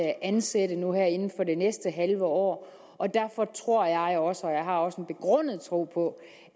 ansætte nu her inden for det næste halve år og derfor tror jeg også jeg har også en begrundet tro på